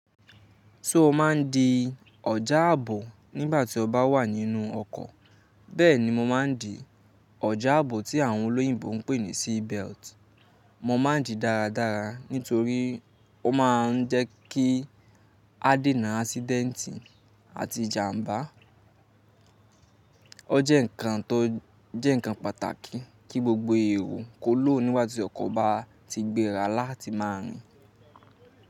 Só o má ń di ọjà ààbò nígbà tí o bá wà nínú ọkọ̀, bẹ́ẹ̀ni mo má ń di ọjà ààbò tí àwọn olóyìnbo ń pè ní seat belt. Mo má ń dìi dáradára nítorí ó má ń jẹ́ kí a déna ásídẹ́ntì àti ìjàmbá. O jẹ́ nǹkan tó jẹ́ nǹkan pàtàkì kí gbogbo èèro kó lòó nígbà tí ọkọ̀ bá ti gbéra láti má rìn.